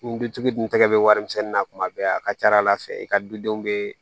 Ni dutigi dun n tɛgɛ be warimisɛnnin na kuma bɛɛ a ka ca ala fɛ i ka dudenw bɛ